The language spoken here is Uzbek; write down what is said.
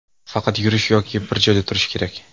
Faqat yurish yoki bir joyda turish kerak.